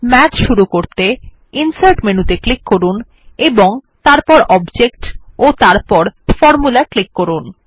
math শুরু করতে insert menu ত়ে ক্লিক করুন তারপর অবজেক্ট ও তারপর ফরমুলা ক্লিক করুন